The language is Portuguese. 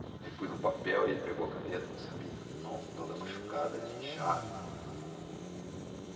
Aí pus no papel, ele pegou a caneta, não sabia, a mão toda machucada de enxada.